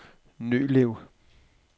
Nølev